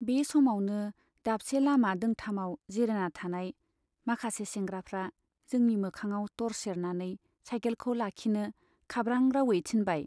बे समावनो दाबसे लामा दोंथामाव जिरायना थानाय माखासे सेंग्राफ्रा जोंनि मोखाङाव टर्स सेरनानै साइकेलखौ लाखिनो खाब्रां राउयै थिनबाय।